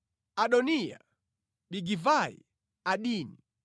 Adoniya, Bigivai, Adini,